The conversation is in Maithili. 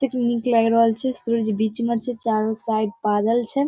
कितनी नीक लाग रहल छे सूर्य बीच में छे चारो साइड बादल छे।